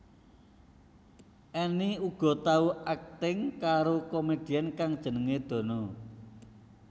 Enny uga tau akting karo komedian kang jenengé Dono